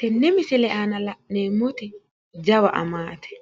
Tenne misile aana la'neemmoti jawa amaati.